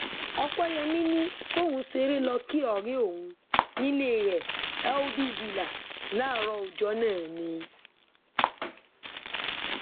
ọpẹyẹmi ni kóun ṣeré lọọ kí ọrẹ òun nílé rẹ healthy villa láàárọ ọjọ náà ni